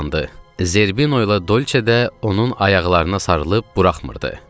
Zerbinoyla Dolçe də onun ayaqlarına sarılıb buraxmırdı.